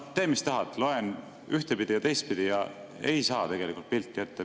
Tee, mis tahad, loe ühtpidi ja teistpidi, aga ei saa pilti ette.